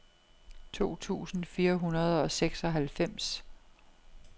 to tusind fire hundrede og seksoghalvfems